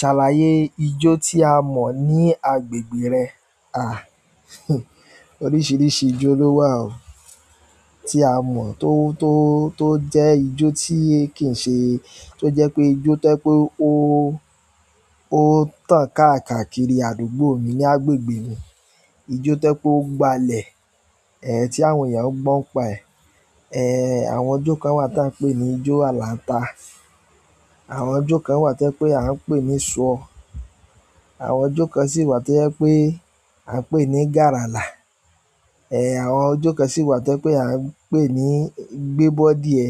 Ṣàlàyé ijó tí a mọ̀ ní agbègbè rẹ. À, oríṣìíríṣìí ijó ló wà o tí a mọ̀ tó, tó, tó jẹ́ ijó tí kì ń ṣe, tó jẹ́ pé ijó tẹ́ pé ó, ó tàn káàkiri àdúgbò mi ní agbègbè mi. Ijó tẹ́ pé ó gbalẹ̀, ẹ́, tí àwọn èèyàn ó gbọ́ pa ẹ́. Àwọn ijó kan wà tí à ń pè ní ijó Àlàńta. Àwọn ijó kan wà tí ẹ́ pé à ń pè ní ṣọ. Àwọn ijó kan sì wà tí ẹ́ pé à ń pè ní Gàlàlà. Àwọn ijó kan sì wà to jẹ́ pé à ń pè ní gbé bódíẹ.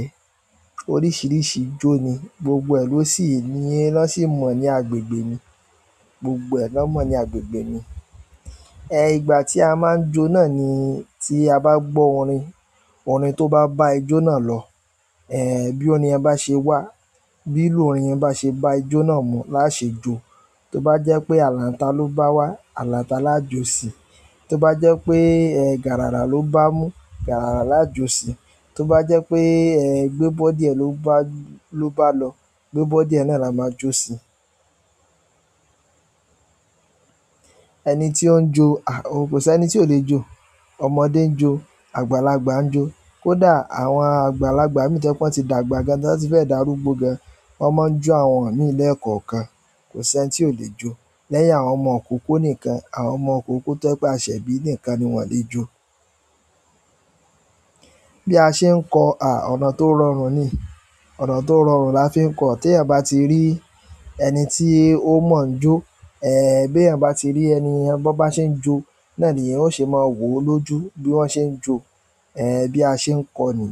Oríṣìíríṣìí ijó ni, gbogbo ẹ lọ sí i ni, lọ sì mọ̀ ní agbègbè mi. Gbogbo ẹ lọ mọ̀ ní agbègbè mi. Ìgbà tí a máa ń jó náà ni tí a bá gbọ́ orin, orin tó bá bá ijó náà lọ. Bí orin yẹn bá ṣe wà, bí ìlù orin yẹn bá ṣe bá ìjó náà mu, lásẹ̀ jó tó bá jẹ́ pé Àlàńta ló bá wá, Àlàńta lájo sí. Tó bá jẹ́ pé, ẹ́, Gàlàlà ló bá mú, Gàlàlà lájo sí. Tó bá jẹ́ pé, ẹ́, Gbébódíẹ ló bá, ló bá lọ, Gbébódíẹ náà la máa jo sí. Ẹni tí ó ń jó, à, kò sí ẹni tí ò lè jó. Ọmọdé ń jó, àgbàlagbà ń jó. Kódà àwọn àgbàlagbà mì to jẹ́ pé wọ́n ti dàgbà gan tí wọ́n ti fẹ́ dàrúgbó gan, wọ́n máa ń jó àwọn mí ní lẹ̀kan kan. Kò sí ẹni tí ò lè jó. Lẹ́yìn àwọn ọmọ òkokó nìkan, àwọn ọmọ òkokó tó bá ṣẹ̀ bí nìkan ni wọn lè jó. Bí a ṣe ń kọ, à, ọ̀nà tó rọrùn ni. Ọ̀nà tó rọrùn la fi ń kọ̀. Tí eyan bá ti rí ẹni tí ó mọ̀ ń jó, ẹ́, bí eyan bá ti rí ẹniyen bo bá ṣe ń jó, náà ni yóò ṣe máa wò ó lójú bí wọ́n ṣe ń jó. Ẹ̀, bí a ṣe ń kọ ni.